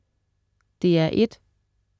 DR1: